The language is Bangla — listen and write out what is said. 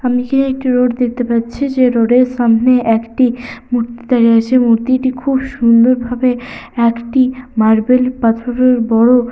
আমি কি একটি রোড দেখতে পাচ্ছি যে রোড -এর সামনে একটি মূর্তি দাঁড়িয়ে আছে মূর্তিটি খুব সুন্দরভাবে একটি মার্বেল পাথরের বড়--